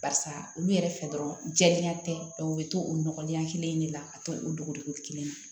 Barisa olu yɛrɛ fɛ dɔrɔn jɛya tɛ dɔn u bɛ to o nɔgɔlen kelen in de la ka to o dogo dogo kelen na